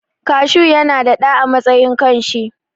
Kashu yana da ɗa a matsayin kan shi.